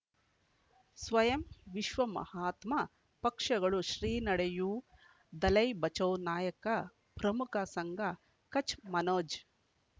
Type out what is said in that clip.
ಸ್ವಯಂ ವಿಶ್ವ ಮಹಾತ್ಮ ಪಕ್ಷಗಳು ಶ್ರೀ ನಡೆಯೂ ದಲೈ ಬಚೌ ನಾಯಕ ಪ್ರಮುಖ ಸಂಘ ಕಚ್ ಮನೋಜ್